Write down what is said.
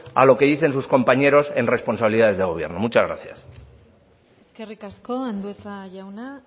a lo que dicen sus compañero en responsabilidades de gobierno muchas gracias eskerrik asko andueza jauna